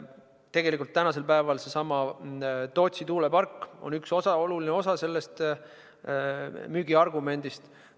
Tegelikult on seesama Tootsi tuulepark praegu üks oluline osa sellest müügiargumendist.